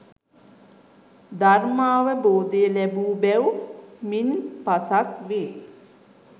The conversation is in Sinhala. ධර්මාවබෝධය ලැබූ බැව් මින් පසක් වේ